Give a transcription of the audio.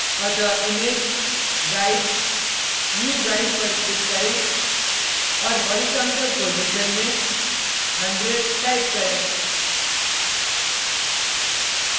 अतः image guides new guide पर click करें और horizontal position में 100 type करें